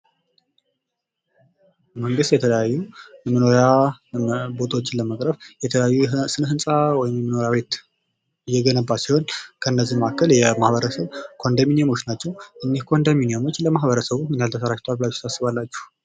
መንግስት የተለያዩ የመኖሪያ ቦታዎችን ለማቅረብ የተለያዩ ስነ ህንፃ መኖሪያ ቤት እየገነባ ሲሆን ከእነዚህም መካከል የማህበረሰብ ኮንዶሚኒየሞች ናቸው። እኒህ ኮንዶሚኒየሞች ለማህበረሰቡ ምን ያህል ተደራጅተዋል ብላችሁ ታስባላችሁ?